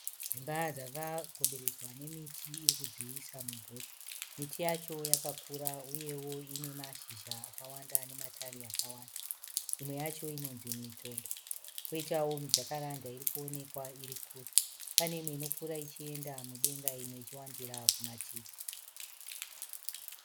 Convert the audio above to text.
Dzimba dzakakomberedzwa nemiti iri kudziisa mumvuri. Miti yacho yakakura uyewo ine mashizha akawanda nematavi akawanda. Imwe yacho inonzi Mitondo poitawo miJacaranda iri kuonekwa nechekure. Pane imwe inokura ichienda mudenga imwe ichiwandira kumativi.